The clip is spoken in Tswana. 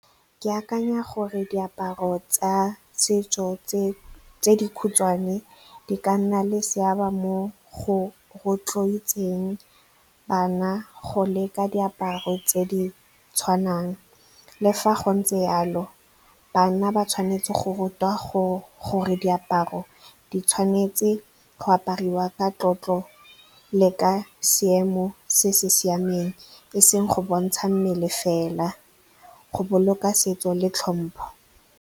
Ke akanya gore diaparo tsa setso tse dikhutshwane di ka nna le seabe mo go rotloetseng bana go leka diaparo tse di tshwanang. Le fa go ntse jalo, bana ba tshwanetse go rutiwa gore diaparo di tshwanetse go apariwa ka tlotlo le ka seemo se se siameng, e seng go bontsha mmele fela, go boloka setso le tlhompho